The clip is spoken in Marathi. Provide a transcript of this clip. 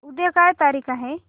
उद्या काय तारीख आहे